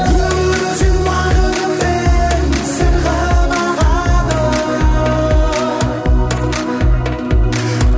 өмір өзен ағынымен сырғып ағады